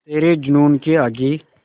तेरे जूनून के आगे